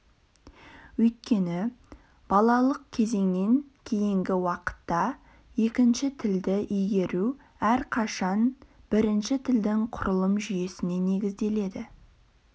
өйткені балалық кезеңнен кейінгі уақытта екінші тілді игеру әрқашан бірінші тілдің құрылым жүйесіне негізделеді